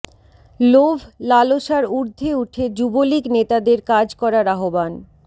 লোভ লালসার ঊর্ধ্বে উঠে যুবলীগ নেতাদের কাজ করার আহ্বান